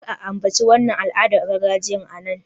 Kar a ambaci wannan al'adar gargajiya a nan!